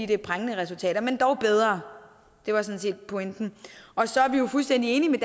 det er prangende resultater men dog bedre det var sådan set pointen så er vi jo fuldstændig enige med